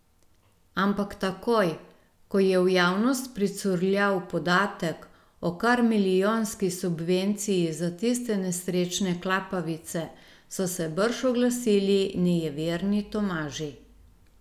Ampak takoj, ko je v javnost pricurljal podatek o kar milijonski subvenciji za tiste nesrečne klapavice, so se brž oglasili nejeverni Tomaži.